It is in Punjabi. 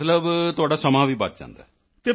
ਮਤਲਬ ਤੁਹਾਡਾ ਸਮਾਂ ਵੀ ਬਚ ਜਾਂਦਾ ਹੈ